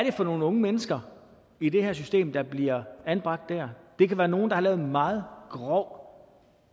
er for nogle unge mennesker i det her system der bliver anbragt der det kan være nogle der har lavet meget grov